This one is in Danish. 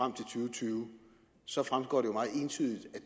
tyve så fremgår jo meget entydigt